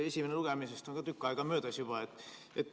Esimesest lugemisest on ka tükk aega juba möödas.